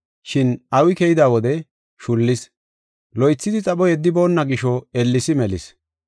Shin awi keyida wode shullis. Loythidi xapho yeddiboonna gisho, ellesi melis.